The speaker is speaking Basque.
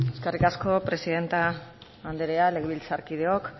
eskerrik asko presidente andrea legebiltzarkideok